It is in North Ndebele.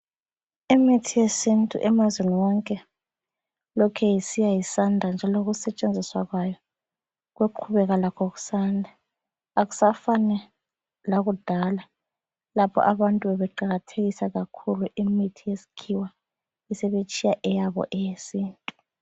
Imithi yesintu emazweni onke lokhe isiya isanda njalo ukusetshenziswa kwayo kuyoqhubeka lakho kusanda. Akusafani lakudala lapho abantu beqakathekisa kakhulu imithi yeskhiwa besebetshiya eyabo eyesintu.